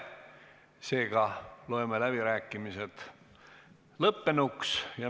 Seega loeme läbirääkimised lõppenuks.